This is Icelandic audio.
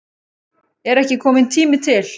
Er ekki kominn tími til?